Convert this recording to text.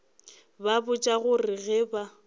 ba botša gore ge ba